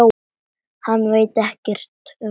Hann veit ekkert um lífið.